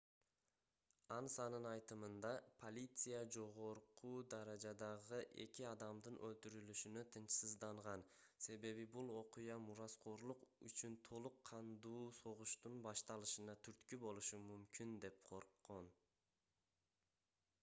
ансанын айтымында полиция жогорку даражадагы эки адамдын өлтүрүлүшүнө тынчсызданган себеби бул окуя мураскорлук үчүн толук кандуу согуштун башталышына түрткү болушу мүмкүн деп корккон